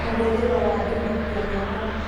Mahũthĩro ma imakia nyamũ